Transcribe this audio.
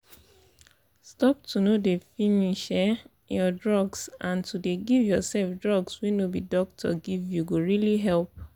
stop to no dey finish um your drugs and to dey give yourself drugs wey no be doctor give you go really help.